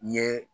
N ye